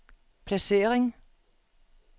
placering